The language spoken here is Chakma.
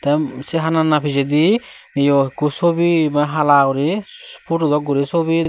eyo se hana hana pijedi yo ikko sobi ba hala hala guri sobi dok guri pudu dok guri subi.